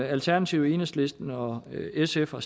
alternativet enhedslisten og sf har